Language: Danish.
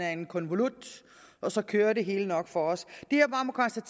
af en konvolut og så kører det hele nok for os